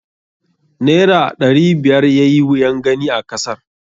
Naira aɗari biyar yayi wuyan gani a kasar.